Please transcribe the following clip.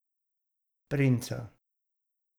Princa.